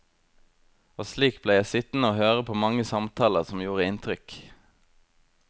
Og slik ble jeg sittende høre på mange samtaler som gjorde inntrykk.